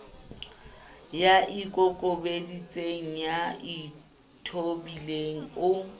ya ikokobeditseng ya ithobileng o